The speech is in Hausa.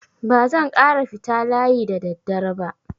Ba zan ƙara fita layi da daddare ba.